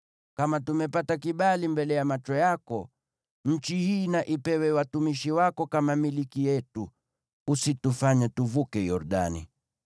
Kama tumepata kibali mbele ya macho yako, nchi hii na ipewe watumishi wako kama milki yetu. Usitufanye tuvuke Yordani.”